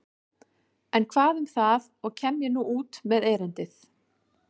En hvað um það og kem ég nú út með erindið.